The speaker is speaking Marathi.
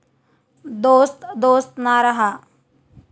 दोस्त दोस्त ना रहा...